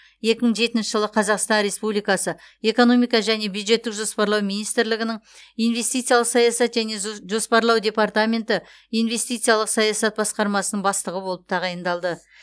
екі мың жетінші жылы қазақстан республикасы экономика және бюджеттік жоспарлау министрлігінің инвестициялық саясат және зу жоспарлау департаменті инвестициялық саясат басқармасының бастығы болып тағайындалды